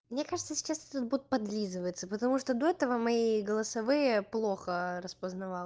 мне кажется сейчас будет подлизываться потому что до этого мои голосовые плохо распознавал